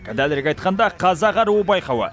дәлірек айтқанда қазақ аруы байқауы